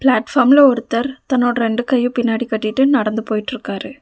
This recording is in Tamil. தன்னோட ரெண்டு கையு பின்னாடி கட்டிட்டு நடந்து போயிட்ருக்காரு.